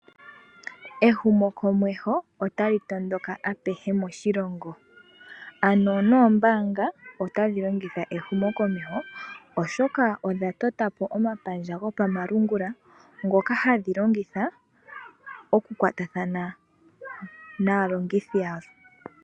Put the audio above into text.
Ehumokomeho otali tondoka apehe moshilongo. Oombaanga nadho otadhi longitha ehumokomeho oshoka odha tota po omapandja gopamalungula ngoka haya longitha oku kwatathana naalongithi yawo.